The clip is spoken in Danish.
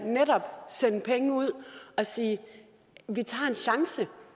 sende penge ud og sige at vi tager en chance